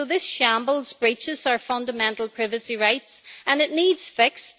So this shambles breaches our fundamental privacy rights and it needs to be fixed.